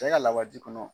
Cɛ ka lawaji kɔnɔ